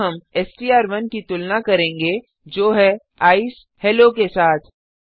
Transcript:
यहाँ हम एसटीआर1 की तुलना करेंगे जो है ईसीई हेलो के साथ